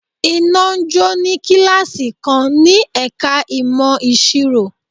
Iná jó ní kíláàsì kan ní ẹ̀ka ìmọ̀ ìsirò.